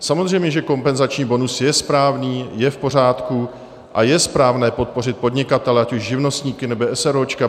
Samozřejmě, že kompenzační bonus je správný, je v pořádku a je správné podpořit podnikatele, ať už živnostníky, nebo eseróčka.